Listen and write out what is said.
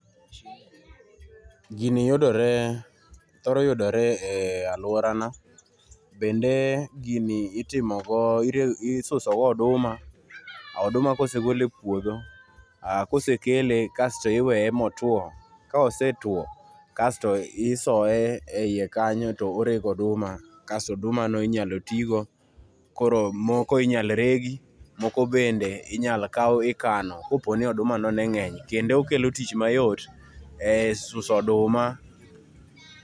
Gini yudore ,thoro yudore e aluora na .Bende gini itimo go, isuso go oduma, oduma kosegol e puodho, kosekele kasto iweye motuo, kosetuo kasto isoye eie kanyo to orego oduma kasto oduma no inyalo tii go. Koro moko inyalo regi, moko bende inyal kao ikano kaponi oduma no ne ngeny .Kendo okelo okel tich mayot e suso oduma